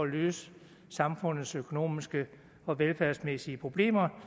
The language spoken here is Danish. løse samfundets økonomiske og velfærdsmæssige problemer